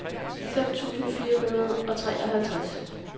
fem tusind fire hundrede og treoghalvtreds